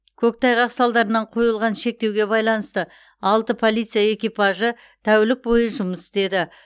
көктайғақ салдарынан қойылған шектеуге байланысты алты полиция экипажы тәулік бойы жұмыс істеді